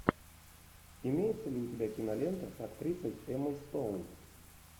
имеется ли у тебя кинолента с актрисой эммой стоун